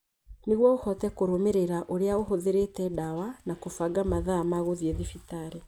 nĩguo ũhote kũrũmĩrĩra ũrĩa ũhũthĩrĩte ndawa na kũbanga mathaa ma gũthiĩ thibitarĩ.